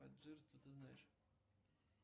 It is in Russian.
ты знаешь